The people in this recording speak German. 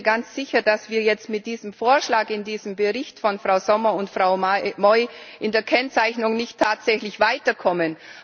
Ich bin mir ganz sicher, dass wir jetzt mit diesem Vorschlag im Bericht von Frau Sommer und Frau Moi in der Kennzeichnung nicht tatsächlich weiterkommen.